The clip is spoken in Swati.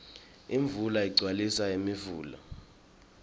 imvula igcwabisa imifula